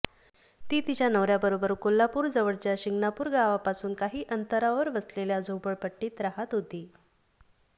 ती तिच्या नवऱ्याबरोबर कोल्हापूर जवळच्या शिंगणापूर गावापासून काही अंतरावर वसलेल्या झोपडपटी्त राहात होती